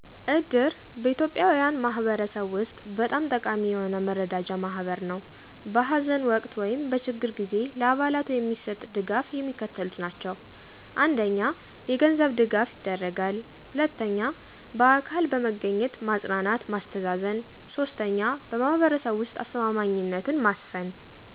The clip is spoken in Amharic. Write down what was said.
እድር በኢትዮጵያን ማህበረሰብ ውስጥ በጣም ጠቃሚ የሆነ የመረዳጃ ማህበር ነው። በሐዘን ወቅት ወይም በችግር ጊዜ ለአባላቱ የሚሰጥ ድጋፍ የሚከተሉት ናቸው: 1. የገንዘብ ድጋፍ ይደረጋል 2. በአካል በመገኘት ማጽናናት ማስተዛዘን 3. በማህበረሰቡ ውስጥ አስተማማኝነትን ማስፈን።